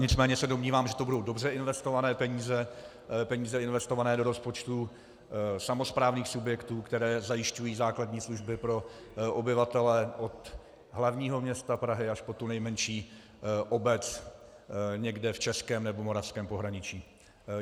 Nicméně se domnívám, že to budou dobře investované peníze, peníze investované do rozpočtu samosprávných subjektů, které zajišťují základní služby pro obyvatele od hlavního města Prahy až po tu nejmenší obec někde v českém nebo moravském pohraničí.